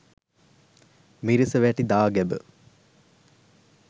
මිරිසවැටි දාගැබ